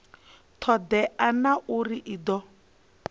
todea na uri i do